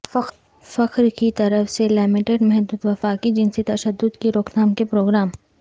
فخر کی طرف سے لمیٹڈ محدود وفاقی جنسی تشدد کی روک تھام کے پروگرام